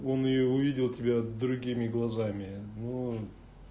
он её увидел тебя другими глазами ну